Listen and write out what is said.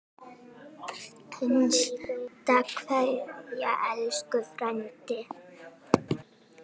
HINSTA KVEÐJA Elsku frændi.